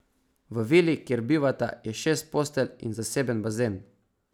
V vili, kjer bivata, je šest postelj in zaseben bazen.